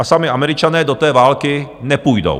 A sami Američané do té války nepůjdou.